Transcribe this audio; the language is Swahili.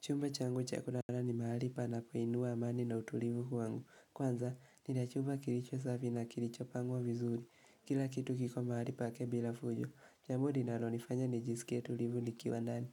Chumba changu cha kulala ni mahali panapoinua amani na utulivu wangu. Kwanza, nina chumba kilicho safi na kilicho pangwa vizuri. Kila kitu kiko mahali pake bila fujo, jambo linalonifanya nijisikie tulivu nikiwa ndani.